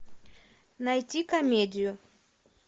найти комедию